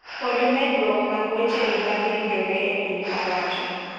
Pod medruok mag weche mibadhi yudore e piny owacho.